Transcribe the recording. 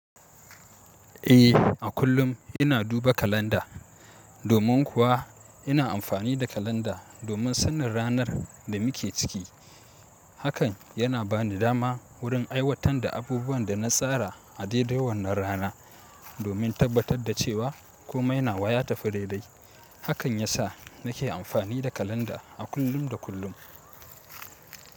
Eh, a kullum ina duba kalanda. Domin kuwa ina amfani da kalanda domin sanin ranar da muke ciki. Hakan yana bani dama wurin aiwatar da abubuwan da na tsara a dai dai wannan rana, domin tabbatar da cewa kome na wayata ya tafi dai dai. Hakan ya sa nake amfani da kalanda a kullum da kullum.